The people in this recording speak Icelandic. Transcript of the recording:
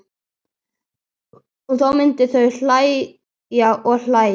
Og þá myndu þau hlæja og hlæja.